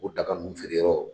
O daga nunnu feere yɔrɔ